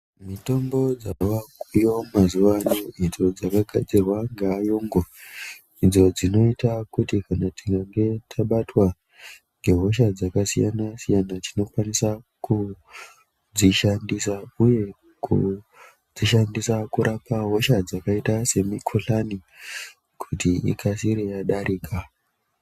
Mitombo dzavakuuyiva mazuva ano idzo dzakagadzirwa ngeayungu. Idzo dzinota kuti kana tikange tabatwa ngehosha dzakasiyana-siyana tinokwanisa kudzishandisa, uye kudzishandisa kurapa hosha dzakaita semikuhlani kuti ikasire yadarika.